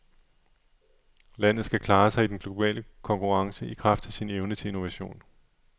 Landet skal klare sig i den globale konkurrence i kraft af sin evne til innovation.